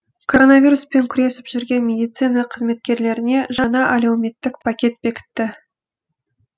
короновируспен күресіп жүрген медицина қызметкерлеріне жаңа әлеуметтік пакет бекітті